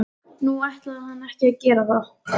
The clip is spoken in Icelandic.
Nú ætlaði hann ekki að gera það.